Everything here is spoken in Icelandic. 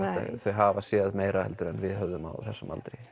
þau hafa séð meira heldur en við höfðum á þessum aldri